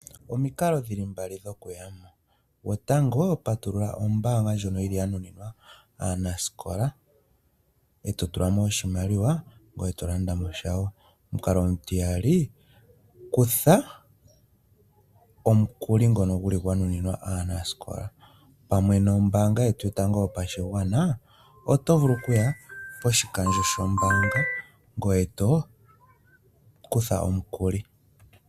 Omikalo dhi li mbali dhokuya mo. Gwotango patulula omayalulo gombaanga ngono ga nuninwa aanasikola, e to tula mo oshimaliwa, ngoye to to landa mo sha wo. Omukalo omutiyali kutha omukuli ngono gwa nuninwa aanasikola. Pamwe nombaanga yetu yopashigwa, oto vulu okuya poshitayi shombaanga ngoye to kutha omukuli.